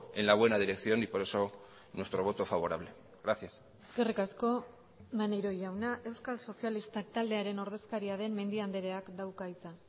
en la buena dirección y por eso nuestro voto favorable gracias eskerrik asko maneiro jauna euskal sozialistak taldearen ordezkaria den mendia andreak dauka hitza